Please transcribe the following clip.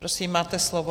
Prosím, máte slovo.